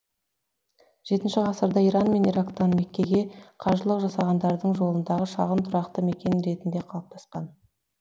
жетінші ғасырда иран мен ирактан меккеге қажылық жасағандардың жолындағы шағын тұрақты мекен ретінде қалыптасқан